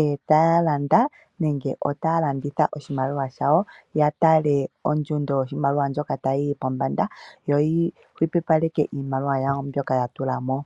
e taya landa nenge otaya landitha oshimaliwa shawo, ya tale ondjundo yoshimaliwa ndjoka tayi yi pombanda, yo yu hupipaleke iimaliwa yawo mbyoka ya tula mo.